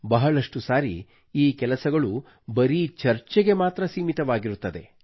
ಬಹಳಷ್ಟು ಬಾರಿ ಈ ಕೆಲಸಗಳು ಬರೀ ಚರ್ಚೆಗೆ ಮಾತ್ರ ಸೀಮಿತವಾಗಿರುತ್ತದೆ